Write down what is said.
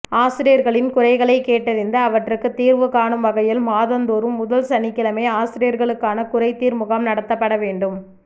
ஆசிரியர்களின் குறைகளைக் கேட்டறிந்து அவற்றுக்கு தீர்வு காணும் வகையில் மாதந்தோறும் முதல் சனிக்கிழமை ஆசிரியர்களுக்கான குறைதீர் முகாம் நடத்தப்பட வேண்டும்